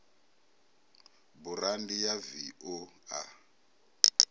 burandi ya v o a